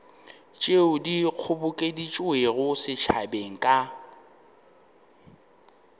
tšeo di kgobokeditšwego setšhabeng ka